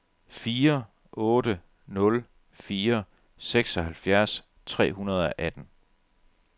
fire otte nul fire seksoghalvfjerds tre hundrede og atten